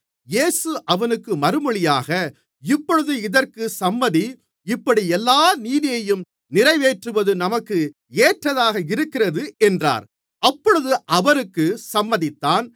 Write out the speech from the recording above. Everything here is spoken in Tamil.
இயேசு அவனுக்கு மறுமொழியாக இப்பொழுது இதற்கு சம்மதி இப்படி எல்லா நீதியையும் நிறைவேற்றுவது நமக்கு ஏற்றதாக இருக்கிறது என்றார் அப்பொழுது அவருக்கு சம்மதித்தான்